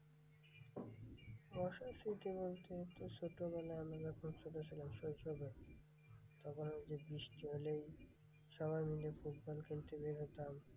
বর্ষার স্মৃতি বলতে তো ছোটোবেলায় আমরা যখন ছোটো ছিলাম শৈশবে, তখন ঐ যে বৃষ্টি হলেই সবাই মিলে ফুটবল খেলতে বের হতাম।